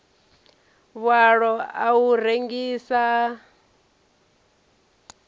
vhualo a u rengisa a